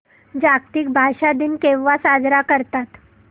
जागतिक भाषा दिन केव्हा साजरा करतात